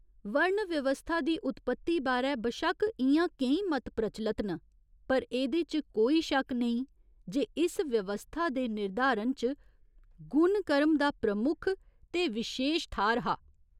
वर्ण व्यवस्था दी उत्पति बारै बशक्क इ'यां केईं मत प्रचलत न पर एह्दे च कोई शक्क नेईं जे इस व्यवस्था दे निर्धारण च गुण कर्म दा प्रमुख ते विशेश थाह्‌र हा।